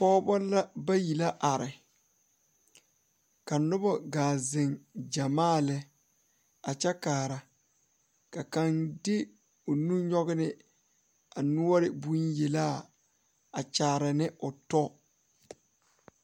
Pɔgeba la bayi la are ka noba gaa zeŋ gyamaa lɛ a kyɛ kaara ka kaŋ de o nu nyɔge ne a noɔre bonyelaa a kyaare ne o tɔ.